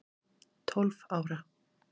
Tólf ára